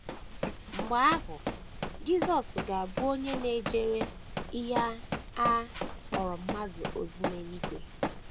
Mgbe ahụ, Jisọs ga - abụ onye na - ejere ihe a kpọrọ mmadụ ozi n’eluigwe.